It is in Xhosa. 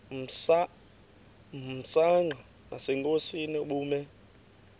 msanqa nasenkosini ubume